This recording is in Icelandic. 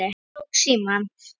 Ég tók símann.